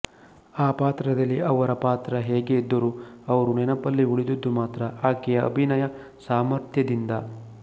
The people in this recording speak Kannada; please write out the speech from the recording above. ಆ ಪಾತ್ರದಲ್ಲಿ ಅವರ ಪಾತ್ರ ಹೇಗೇ ಇದ್ದರೂ ಅವರು ನೆನಪಲ್ಲಿ ಉಳಿದದ್ದು ಮಾತ್ರ ಆಕೆಯ ಅಭಿನಯ ಸಾಮರ್ಥ್ಯದಿಂದ